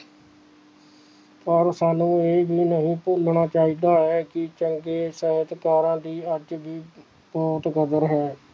ਪਰ ਸਾਂਨੂੰ ਇਹ ਵੀ ਨਹੀਂ ਭੁਲਣਾ ਚਾਹੀਦਾ ਹੈ ਕਿ ਚੰਗੇ ਸਾਹਿਤਕਾਰਾਂ ਦੀ ਅੱਜ ਵੀ ਬਹੁਤ ਕਦਰ ਹੈ